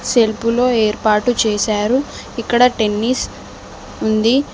Self లో ఏర్పాటు చేశారు ఇక్కడ టెన్నిస్ ఉంది.